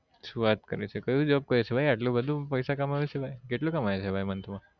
શું વાત કરે છે કયું job કરે છે આટલું બધું પૈસા કમાવે છે ભાઈ કેટલું કમાઈ છે ભાઈ month માં